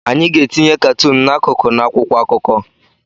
Anyị ga-etinye katuun n'akụkụ n'akwụkwọ akụkọ.